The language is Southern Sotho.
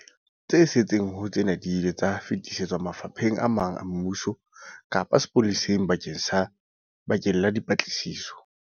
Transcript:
Tse setseng ho tsena di ile tsa fetisetswa mafapheng a mang a mmuso kapa sepoleseng bakeng la dipatlisiso.